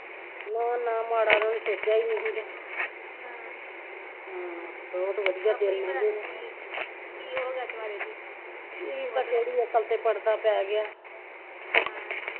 ਨਾ ਨਾ ਮਾੜਾ ਤੇ ਉਹਨੇ ਸੋਚਿਆ ਈ ਨਹੀਂ ਸੀਗਾ ਹਮ ਹਮ ਬਹੁਤ ਵਧੀਆ ਦਿਨ ਲੰਗੇ ਕੀ ਪਤਾ ਕੀ ਇਹਦੀ ਅਕਲ ਤੇ ਪੜਦਾ ਪੈ ਗਿਆ ਹਮ